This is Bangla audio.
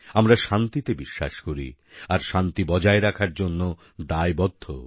আমরা শান্তিতে বিশ্বাস করি আর শান্তি বজায় রাখার জন্য দায়বদ্ধও